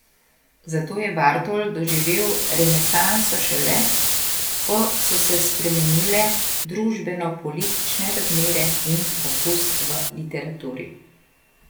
Zato je Bartol doživel renesanso šele, ko so se spremenile družbenopolitične razmere in okus v literaturi.